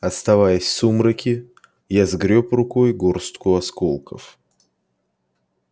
оставаясь в сумраке я сгрёб рукой горстку осколков